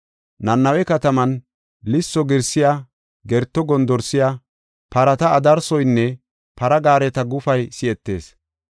Nanawe katamen lisso girsay, gerto gondorsay, parata adarsoynne para gaareta gufay si7etees.